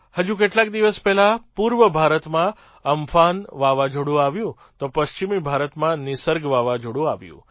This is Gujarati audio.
હજુ કેટલાક દિવસ પહેલાં પૂર્વ ભારતમાં અમ્ફાન વાવાઝોડું આવ્યું તો પશ્ચિમી ભારતમાં નિસર્ગ વાવાઝોડું આવ્યું